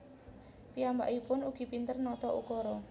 Piyambaikpun ugi pinter nata ukara